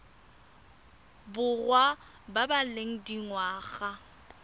borwa ba ba leng dingwaga